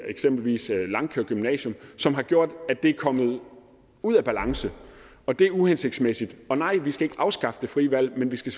eksempelvis langkaer gymnasium som har gjort at det er kommet ud af balance og det er uhensigtsmæssigt og nej vi skal ikke afskaffe det frie valg men vi skal